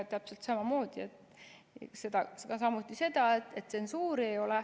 Täpselt samamoodi ütleb ka seda, et tsensuuri ei ole.